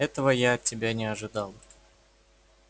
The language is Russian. этого я от тебя не ожидала